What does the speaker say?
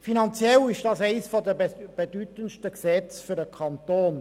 Finanziell handelt es sich dabei um eines der bedeutendsten Gesetze für den Kanton.